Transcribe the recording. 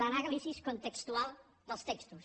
el análisis contextual dels textos